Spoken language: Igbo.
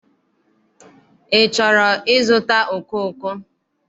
Ị chọrọ ịzụta okooko?